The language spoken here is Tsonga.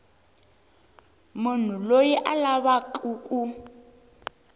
munhu loyi a lavaku ku